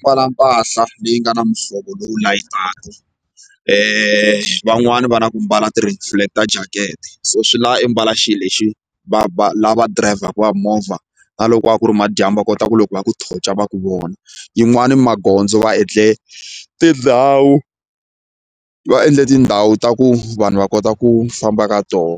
Mbala mpahla leyi nga na muhlovo lowu van'wani va na ku mbala ti-reflector jacket so swi lava imbala xilo lexi va va lava dirayivhaku va movha na loko va ku ri madyambu va kota ku loko va ku torch-a va ku vona yin'wani magondzo va endle tindhawu va endle tindhawu ta ku vanhu va kota ku famba ka toho